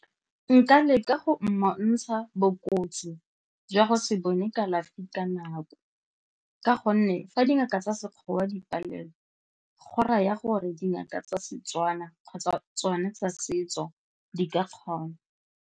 Nka leka go mmontsha bokotsi jwa go se bone kalafi ka nako ka gonne fa dingaka tsa Sekgowa di palelwa go raya gore dingaka tsa Setswana kgotsa tsone tsa setso di ka kgona.